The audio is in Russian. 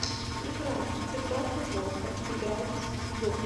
игра цитаты волка играть в